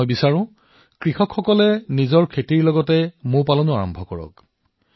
মই বিচাৰো যে দেশৰ অধিক সংখ্যক কৃষকে তেওঁলোকৰ কৃষিৰ লগতে মৌ মাখি পালনতো জড়িত হওক